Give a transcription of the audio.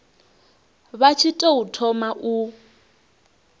vha tshi tou thoma u